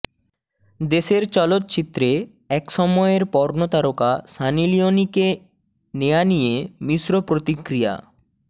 দেশের চলচ্চিত্রে এক সময়ের পর্নোতারকা সানি লিওনিকে নেয়া নিয়ে মিশ্র প্রতিক্রিয়া